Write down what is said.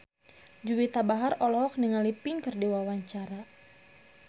Juwita Bahar olohok ningali Pink keur diwawancara